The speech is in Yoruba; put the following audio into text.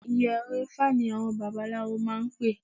Ìyẹ̀rẹ̀-ifá ni àwọn babaláwo máa ń pè